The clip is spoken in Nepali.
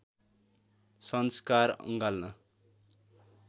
संस्कार अँगाल्न